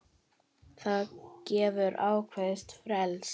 Það gefur ákveðið frelsi.